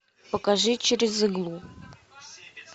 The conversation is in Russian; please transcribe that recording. покажи через иглу